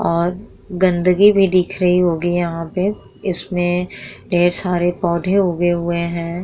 और गंदगी भी दिख रही होगी यहाँ पे इसमें ढेर सारे पौधे उगे हुए हैं।